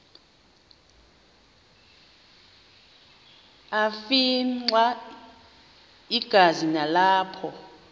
afimxa igazi nalapho